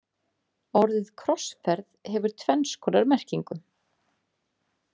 Orðið krossferð hefur tvenns konar merkingu.